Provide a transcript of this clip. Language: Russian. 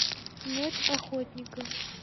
ночь охотника